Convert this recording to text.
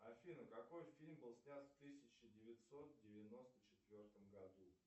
афина какой фильм был снят в тысяча девятьсот девяносто четвертом году